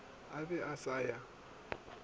a be a sa ya